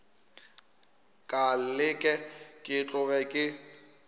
ka leke ke tloge ke